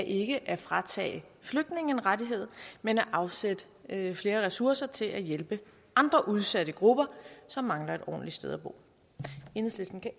ikke at fratage flygtningene en rettighed men at afsætte flere ressourcer til at hjælpe andre udsatte grupper som mangler et ordentligt sted at bo enhedslisten kan